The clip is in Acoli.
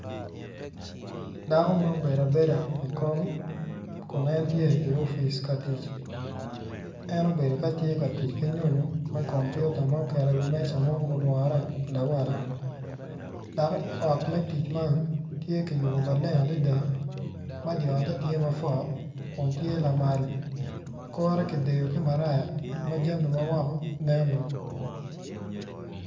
Dako ma obedo abedo kun en tye i opic ka tic en obedo ka tye ka tic ki nyonyo me kompiuta ma oketo i wi meja ma obedo lawala dok i ot me tic man tye kiyubo malenge adada ma dyeote tye matar maleng adada kore kidyeyo ki maraya ma jami ma woko neno.